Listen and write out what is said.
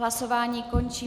Hlasování končím.